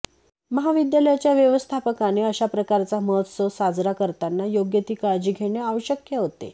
महाविद्यालयाच्या व्यवस्थापकाने अशा प्रकारचा महोत्सव साजरा करताना योग्य ती काळजी घेणे आवश्यक होते